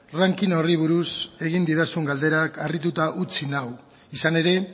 ranking horri buruz egin didazun galderak harrituta utzi nau izan ere